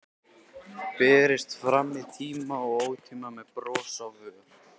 Berist fram í tíma og ótíma, með bros á vör.